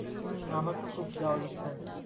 হুম আমার তো খুব যাওয়ার ইচ্ছা আছে।